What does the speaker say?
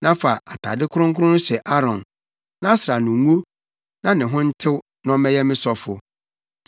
Na fa atade kronkron no hyɛ Aaron, na sra no ngo na ne ho ntew na ɔmmɛyɛ me sɔfo.